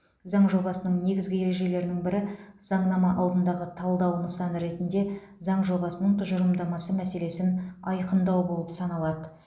заң жобасының негізгі ережелерінің бірі заңнама алдындағы талдау нысаны ретінде заң жобасының тұжырымдамасы мәселесін айқындау болып саналады